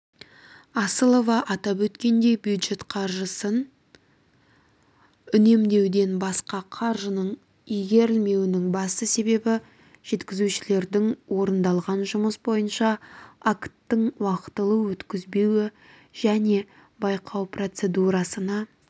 асылова атап өткендей бюджет қаржысын үнемдеуден басқа қаржының игерілмеуінің басты себебі жеткізушілердің орындалған жұмыс бойынша акттың уақытылы өткізбеуі және байқау процедурасына